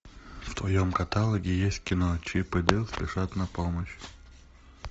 в твоем каталоге есть кино чип и дейл спешат на помощь